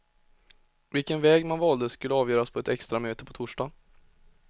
Vilket väg man valde skulle avgöras på ett extramöte på torsdag.